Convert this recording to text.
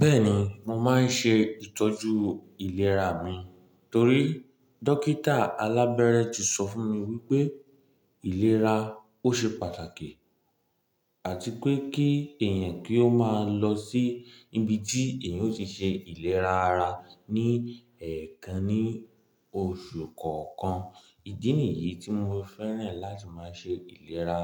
Bẹ́ẹ̀ni, mo máa ń ṣe ìtọ́jú ìlera mi torí dókítà alábẹ́rẹ́ ti sọ fún mi wípé ìlera ó ṣe pàtàkì àti pé kí èèyàn kí ó máa lọ sí ibi tí èèyàn ó ti ṣe ìlera ara ní ẹ̀ẹ̀kan ní oṣù kọ̀ọ̀kan. Ìdí nìyí tí mo fẹ́ràn láti máa ṣe ìlera